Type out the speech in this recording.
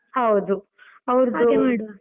ಹೌದು .